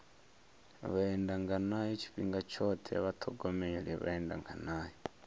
vhaendanganayo tshifhinga tshoṱhe vha ṱhogomele vhaendanganayo